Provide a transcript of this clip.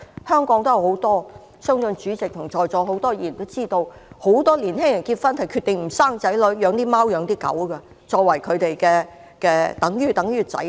香港也有很多例子，相信主席和在座很多議員也知道，很多年輕夫婦決定不生兒育女，只養貓或狗，把牠們當作子女。